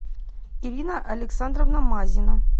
ирина александровна мазина